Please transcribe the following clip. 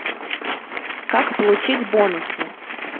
как получить бонусы